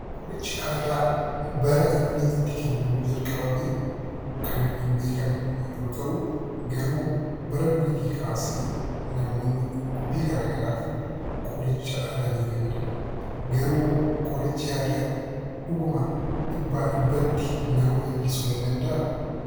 Qorichi Aadaa baraa inni itti kennamuu jalqabamee Kan hin beekamne yoo ta'u, garuu baraa duriitti kaasse namoonni dhukkubbii garagaraaf qoricha aadaa ni faayyadaamu. Garuu qorichi aadaa dhuguma dhibba dhibbatti nama fayyisuu ni danda'aa?